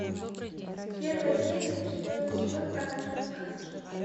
первая серия четвертый сезон однажды в сказке